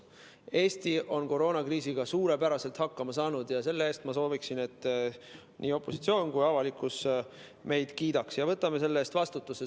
Eesti on koroonakriisiga suurepäraselt hakkama saanud ja ma sooviksin, et selle eest nii opositsioon kui ka avalikkus meid kiidaksid, ja me võtame selle eest vastutuse.